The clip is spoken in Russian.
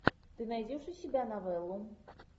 ты найдешь у себя новеллу